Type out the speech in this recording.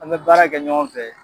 An bɛ baara kɛ ɲɔgɔn fɛ.